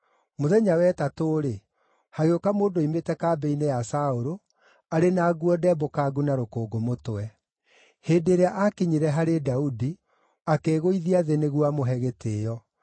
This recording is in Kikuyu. Mũthenya wa ĩtatũ-rĩ, hagĩũka mũndũ oimĩte kambĩ-inĩ ya Saũlũ, arĩ na nguo ndembũkangu na rũkũngũ mũtwe. Hĩndĩ ĩrĩa aakinyire harĩ Daudi, akĩĩgũithia thĩ nĩguo amũhe gĩtĩĩo.